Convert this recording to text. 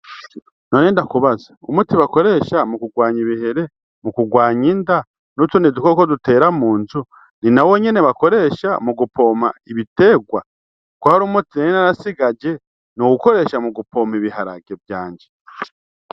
None ndakubaze, umuti bakoresha mu kurwanya ibihere, mu kurwanya inda n'utundi dukoko dutera mu nzu ni nawo nyene bakoresha mu gupompa ibiterwa? Ko hari umuti nari narasigaje nowukoresha mu gupompa ibiharage vyanje?